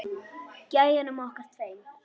Gæjunum okkar tveim.